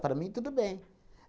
Para mim, tudo bem.